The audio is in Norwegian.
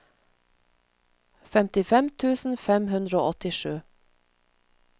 femtifem tusen fem hundre og åttisju